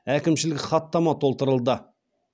әкімшілік хаттама толтырылды